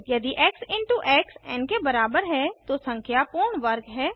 यदि x into x n के बराबर है तो संख्या पूर्ण वर्ग है